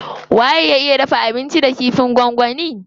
Waye ya iya dafa abinci da kifin gwangwani.